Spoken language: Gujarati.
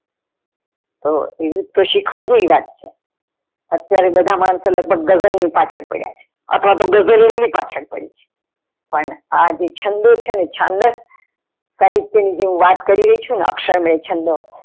તો એ તો શીખવા જેવી વાત છે અત્યારે બધા માણસો લગભગ ગઝલ ની પાચલ પડ્યા છે, અથવા ગઝલ એમની પાછલ પડી છે, પણ આ જે છંદો ચેને છાન્દક સાહિત્ય ની વાત કરી રહી છું ને અક્ષરમય છંદો.